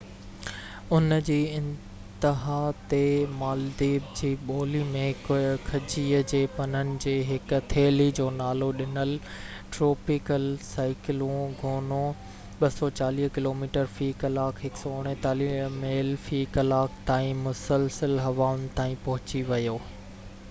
ان جي انتها تي، مالديپ جي ٻولي ۾ کجيءَ جي پنن جي هڪ ٿيلي جو نالو ڏنل، ٽروپيڪل سائيڪلون گونو، 240 ڪلوميٽر في ڪلاڪ 149 ميل في ڪلاڪ تائين مسلسل هوائن تائين پهچي ويو